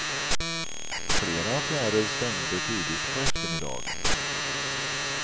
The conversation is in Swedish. Flera affärer stängde tidigt på eftermiddagen.